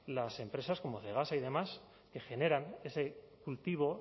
las empresas como cegasa y demás que generan ese cultivo